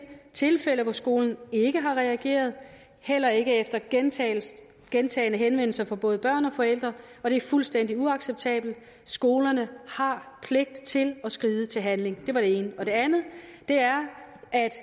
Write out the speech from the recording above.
tilfælde hvor skolen ikke har reageret heller ikke efter gentagne gentagne henvendelser fra både børn og forældre og det er fuldstændig uacceptabelt skolerne har pligt til at skride til handling det var det ene det andet er at